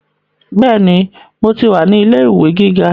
Bẹ́ẹ̀ni, mo ti wà ní ilé ìwé gíga